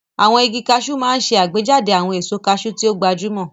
Àwọn igi Cashew máa ń ṣe àgbéjáde àwọn èso cashew tí ó gbajúmọ̀.